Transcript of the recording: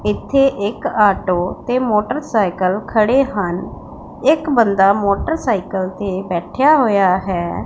ਇੱਥੇ ਇੱਕ ਆਟੋ ਤੇ ਮੋਟਰਸਾਈਕਲ ਖੜੇ ਹਨ ਇੱਕ ਬੰਦਾ ਮੋਟਰਸਾਈਕਲ ਤੇ ਬੈਠਿਆ ਹੋਇਆ ਹੈ।